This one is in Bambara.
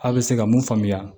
Aw bɛ se ka mun faamuya